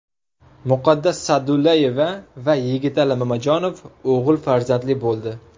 Muqaddas Sa’dullayeva va Yigitali Mamajonov o‘g‘il farzandli bo‘ldi.